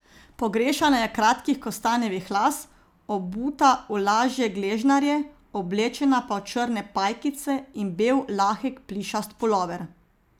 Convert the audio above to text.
Pogrešana je kratkih kostanjevih las, obuta v lažje gležnarje, oblečena pa v črne pajkice in bel lahek plišast pulover.